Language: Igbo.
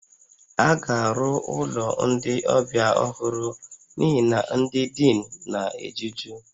A ga-arụ ụlọ ndị ọbịa ọhụrụ n'ihi na ndị dịnụ na-ejuju